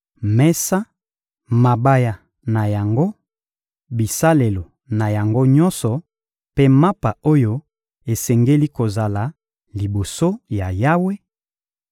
mesa, mabaya na yango, bisalelo na yango nyonso mpe mapa oyo esengeli kozala liboso ya Yawe,